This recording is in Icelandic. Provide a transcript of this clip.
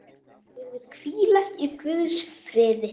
Megirðu hvíla í Guðs friði.